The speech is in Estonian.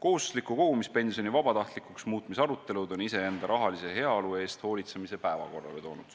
"Kohustusliku kogumispensioni vabatahtlikuks muutmise arutelud on iseenda rahalise heaolu eest hoolitsemise päevakorrale toonud.